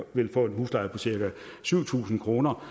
ni tusind kroner